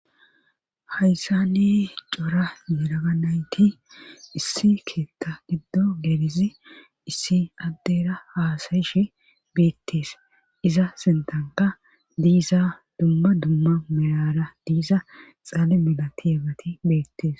Hayssa ne cora yelaaga nayti issi keetta giddo gerizi issi addera haasayishi beettees iza sintanka diiza dumma dumma merara diiza xaale mila ti ebati beettees.